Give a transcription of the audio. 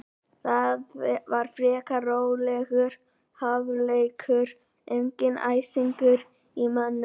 Það var frekar rólegur hálfleikur, enginn æsingur í mönnum.